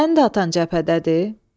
Sənin də atan cəbhədədir?